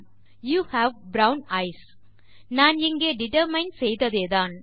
you have brown eyes நாம் இங்கே determine செய்ததேதான்